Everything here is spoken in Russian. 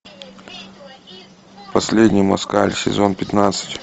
последний москаль сезон пятнадцать